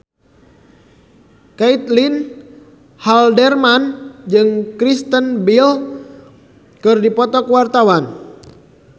Caitlin Halderman jeung Kristen Bell keur dipoto ku wartawan